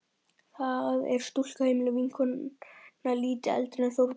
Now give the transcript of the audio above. Það er stúlka á heimilinu, vinnukona lítið eldri en Þórbergur.